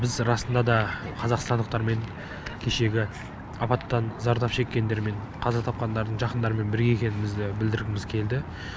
біз расында да қазақстандықтармен кешегі апаттан зардап шеккендермен қаза тапқандардың жақындарымен бірге екендігімізді білдіргіміз келді